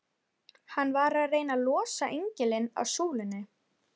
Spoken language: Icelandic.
Hann var að reyna að losa engilinn af súlunni!